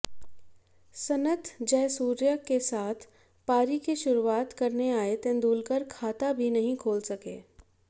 सनत जयसूर्या के साथ पारी की शुरुआत करने आए तेंदुलकर खाता भी नहीं खोल सके